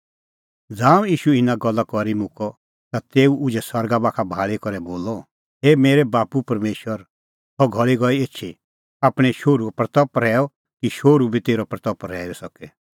ज़ांऊं ईशू इना गल्ला करी मुक्कअ ता तेऊ उझै सरगा बाखा भाल़ी करै बोलअ हे मेरै बाप्पू परमेशर सह घल़ी गई एछी आपणैं शोहरूए महिमां कर कि शोहरू बी तेरी महिमां करी सके